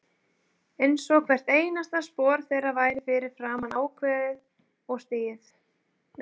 Einsog hvert einasta spor þeirra væri fyrir fram ákveðið og stigið.